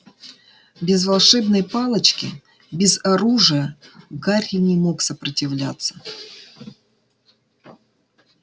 без волшебной палочки без оружия гарри не мог сопротивляться